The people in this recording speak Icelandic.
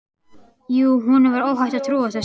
Jú, honum var óhætt að trúa þessu!